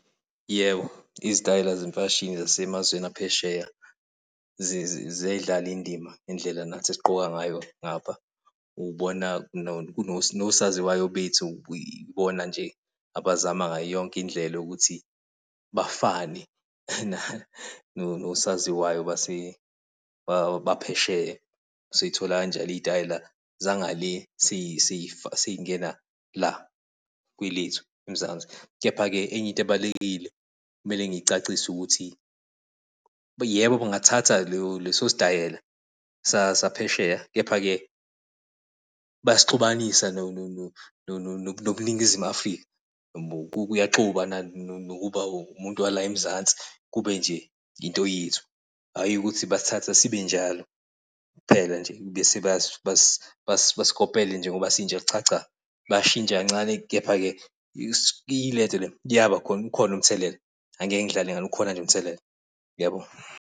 Yebo, izitayela zemfashini zasemazweni aphesheya ziyayidlala indima indlela nathi esigqoka ngayo ngapha. Ubona Nosaziwayo bethu ubona nje abazama ngayo yonke indlela yokuthi bafane nosaziwayo baphesheya. Sithola kanjalo iy'tayela ngale seyingena la kwelethu eMzansi. Kepha-ke enye into ebalulekile kumele ngicacise ukuthi yebo, kungathatha leso sitayela saphesheya kepha-ke bayasixubanisa nobuNingizimu Afrika. Kuyaxuba nokuba umuntu wala eMzansi kube nje into yethu, hhayi ukuthi basithatha sibe njalo kuphela nje bese basikopele njengoba sinjalo. Cha, cha bayashintsha kancane. Kepha-ke kuyabakhona ukhona umthelela angeke ngidlale ngawe ukhona nje umthelela. Ngiyabonga.